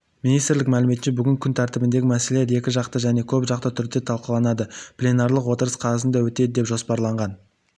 министрлік мәліметінше бүгін күн тәртібіндегі мәселелер екі жақты және көп жақты түрде талқыланады пленарлық отырыс қазанда өтеді деп жоспарланған